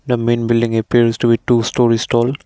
the main building appears to be two storeys tall.